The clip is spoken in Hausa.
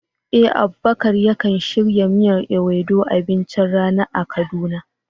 Eh, Abubakar yakan shirya miyar Ewedu abincin rana a Kaduna.